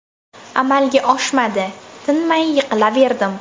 Amalga oshmadi, tinmay yiqilaverdim.